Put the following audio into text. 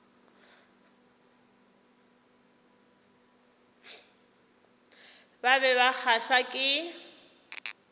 ba be ba kgahlwa ke